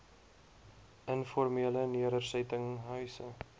informele nedersetting huise